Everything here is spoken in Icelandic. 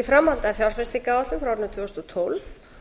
í framhaldi af fjárfestingaráætlun frá árinu tvö þúsund og tólf